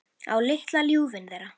Á litla ljúfinn þeirra.